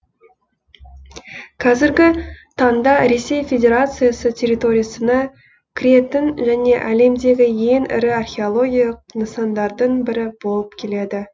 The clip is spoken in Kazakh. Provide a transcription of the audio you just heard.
қазіргі таңда ресей федерациясы территориясына кіретін және әлемдегі ең ірі археологиялық нысандардың бірі болып келеді